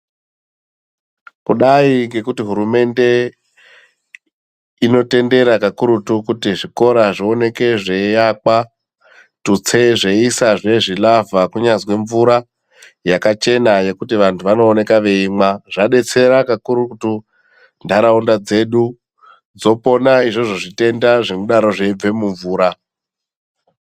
Kudai ngekuti hurumende inotendera kakurutu kuti zvikora zvioneke zveiakwa, tutse zveiisa zve zvilavha kunyazwi mvura yakachena yekuti vantu vanooneka veimwa zvadetsera kakurutu ntaraunda dzedu dzopona izvozvo zvitenda zvinodaro zveibve mumvura.